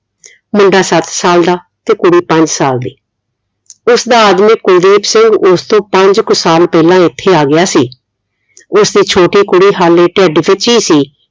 ਮੁੰਡਾ ਸੱਤ ਸਾਲ ਦਾ ਤੇ ਕੁੜੀ ਪੰਜ ਸਾਲ ਦੀ ਉਸਦਾ ਆਦਮੀ ਕੁਲਦੀਪ ਸਿੰਘ ਉਸਤੋਂ ਪੰਜ ਕੁ ਸਾਕ ਪਹਿਲਾ ਇਥੇ ਆ ਗਿਆ ਸੀ ਉਸਦੀ ਛੋਟੀ ਕੁੜੀ ਹਲੇ ਢਿੱਡ ਵਿਚ ਹੀ ਸੀ